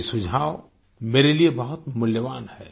ये सुझाव मेरे लिए बहुत मूल्यवान हैं